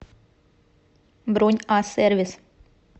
бронь а сервис